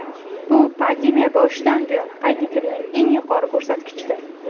Bu pandemiya boshidan buyon qayd etilgan eng yuqori ko‘rsatkichdir.